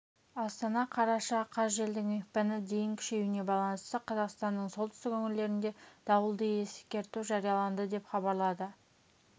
астана қараша қаз желдің екпіні дейін күшеюіне байланысты қазақстанның солтүстік өңірлерінде дауылды ескерту жарияланды деп хабарлады